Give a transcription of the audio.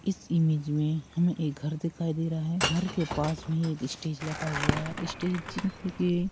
इस इमेज में हमें एक घर दिखाई दे रहा है। घर के पास में एक स्टेज लगा हुआ है स्टेज एक --